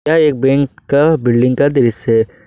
यह एक बैंक का बिल्डिंग का दृश्य है।